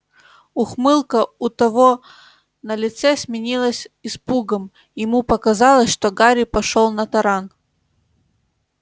ухмылка у того на лице сменилась испугом ему показалось что гарри пошёл на таран